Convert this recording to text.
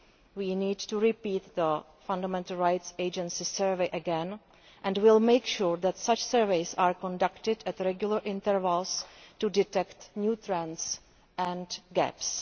We need to repeat the Fundamental Rights Agency survey again, and we will make sure that such surveys are conducted at regular intervals to detect new trends and gaps.